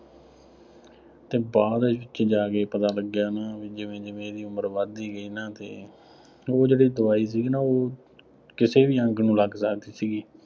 ਅਤੇ ਬਾਅਦ ਵਿੱਚ ਜਾ ਕੇ ਪਤਾ ਲੱਗਿਆ ਨਾ ਜਿਵੇਂ ਜਿਵੇਂ ਇਹਦੀ ਉਮਰ ਵੱਧਦੀ ਗਈ ਨਾ ਫੇਰ, ਉਹ ਜਿਹੜੀ ਦਵਾਈ ਸੀਗੀ ਨਾ ਉਹ ਕਿਸੇ ਵੀ ਅੰਗ ਨੂੰ ਲੱਗ ਸਕਦੀ ਸੀਗੀ।